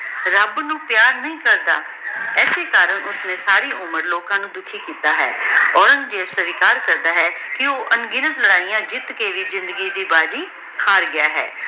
ਰਾਬ ਨੂ ਪਯਾਰ ਨਹੀ ਕਰਦਾ ਅਸੀਂ ਕਰਨ ਓਸ੍ਨੀ ਸਾਰੀ ਮਾਰ ਲੋਕਾਂ ਨੂ ਦੁਖੀ ਕੀਤਾ ਹੈ ਔਰੇਨ੍ਗ੍ਜ਼ੇਬ ਸਵੀਕਾਰ ਕਰਦਾ ਹੈ ਕੇ ਊ ਆਂ ਗਿਨਾਤ ਲਾਰੈਯਾਂ ਜੀਤ ਕੇ ਵੀ ਜ਼ਿੰਦਗੀ ਦੀ ਬਾਜ਼ੀ ਹਰ ਗਯਾ ਹੈ